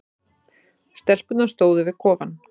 Stelpurnar stóðu við kofann.